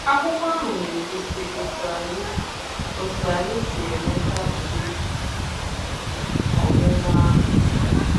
Akwụkwọ ahụ na-egosi otu anyị otu anyị si enweta ụdị um ọmụma ahụ.